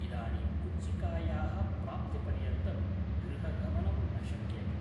इदानीं कु़ञ्चिकायाः प्राप्तिपर्यन्तं गृहगमनं न शक्यते